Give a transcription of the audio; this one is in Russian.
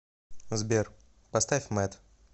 сбер поставь мэд